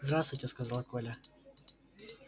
здравствуйте сказал коля